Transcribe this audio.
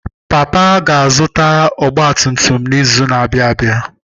Papa ga zụta ọgba tum tum n'izu na abịa abịa.